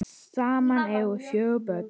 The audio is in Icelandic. Saman eiga þau fjögur börn.